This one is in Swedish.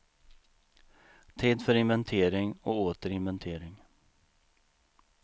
Tid för inventering och åter inventering.